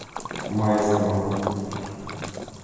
майскому